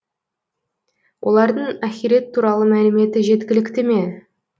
олардың ахирет туралы мәліметі жеткілікті ме